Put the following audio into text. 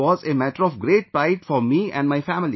It was a matter of great pride for me and my family